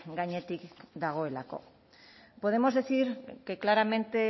gainetik dagoelako podemos decir que claramente